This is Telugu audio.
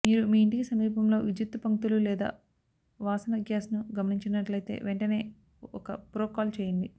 మీరు మీ ఇంటికి సమీపంలో విద్యుత్తు పంక్తులు లేదా వాసన గ్యాస్ను గమనించినట్లయితే వెంటనే ఒక ప్రో కాల్ చేయండి